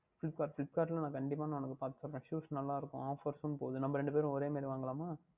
Flipkart Flipkart யில் நான் கண்டிப்பாக உனக்கு பார்த்து சொல்லுகின்றேன் Shoes நன்றாக இருக்கும் Offer உம் போகின்றது நாம் இரண்டு பேரும் ஒரே மாதிரி வாங்கிக்கொள்ளலாமா